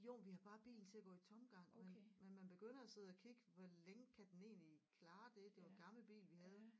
Jo men vi havde bare bilen til at gå i tomgang men men man begynder at sidde at kigge hvor længe kan den egentlig klare det det var en gammel bil vi havde